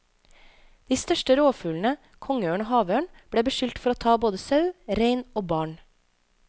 De største rovfuglene, kongeørn og havørn, ble beskyldt for å ta både sau, rein og barn.